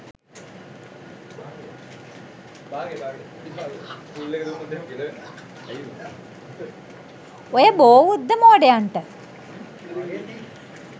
ඔය බෝඋද්ද මෝඩයන්ට